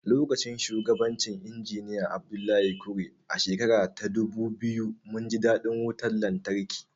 Lokacin shugabancin Injiniya Abdullahi Kure, a shekara ta dubu biyu, mun ji daɗin wutar lantarki.